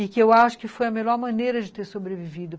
E que eu acho que foi a melhor maneira de ter sobrevivido.